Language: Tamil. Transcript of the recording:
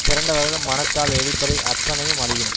திரண்டவர்கள் மனத்தால் எலிப்படை அத்தனையும் அழியும்